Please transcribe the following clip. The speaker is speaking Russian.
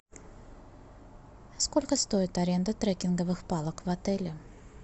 сколько стоит аренда трекинговых палок в отеле